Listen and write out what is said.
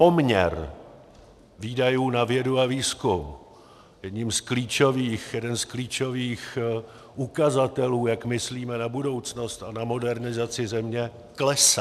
Poměr výdajů na vědu a výzkum, jeden z klíčových ukazatelů, jak myslíme na budoucnost a na modernizaci země, klesá.